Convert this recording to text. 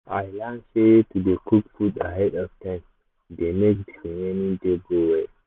i learn sey to dey cook food ahead of time dey make the remaining day go well